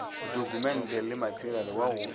ditokumente le materiale wa go